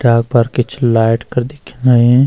पर कुछ लाइट कर दिख्याणी।